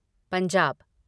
Punjab